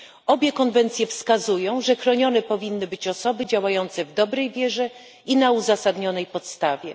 Obie konwencje wskazują, że chronione powinny być osoby działające w dobrej wierze i na uzasadnionej podstawie.